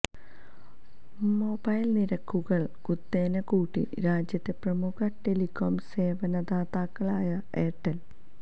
mobile നിരക്കുകൾ കുത്തനെ കൂട്ടി രാജ്യത്തെ പ്രമുഖ ടെലികോം സേവനദാതാക്കളായ എയർടെൽ